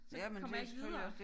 Så kommer jeg ikke videre